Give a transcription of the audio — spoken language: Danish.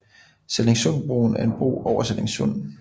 Sallingsundbroen er en bro over Sallingsund